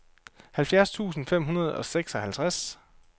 halvfjerds tusind fem hundrede og seksoghalvtreds